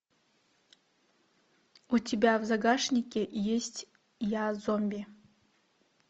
у тебя в загашнике есть я зомби